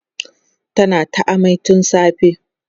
tana ta amai tun safe